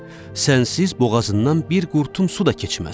Sənsiz boğazından bir qurtum su da keçməz.